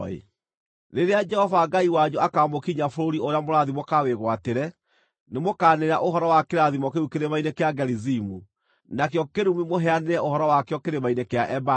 Rĩrĩa Jehova Ngai wanyu akaamũkinyia bũrũri ũrĩa mũrathiĩ mũkawĩgwatĩre, nĩmũkanĩrĩra ũhoro wa kĩrathimo kĩu kĩrĩma-inĩ kĩa Gerizimu, nakĩo kĩrumi mũheanĩre ũhoro wakĩo kĩrĩma-inĩ kĩa Ebali.